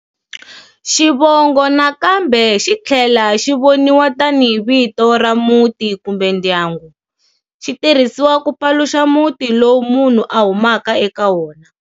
Xivongo nakambe xi thlela xi voniwa tanihi vito ra Muti kumbe ndyangu. Xi tirhisiwa ku paluxa muti lowu munhu a humaka eka wona.